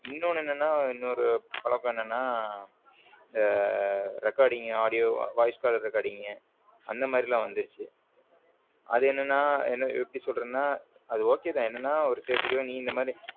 இன்னொன்னு என்ன நா இன்னொரு பழக்கம் என்னன்னா இந்த recording audio voice caller recording அந்த மாதிரி எல்லாம் வந்துருச்சு அது என்னன்னா எப்படி சொல்றதுன்னா அது okay தான் என்னன்னா நீ இந்த மாதிரி